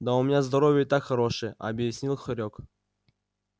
да у меня здоровье и так хорошее объяснил хорёк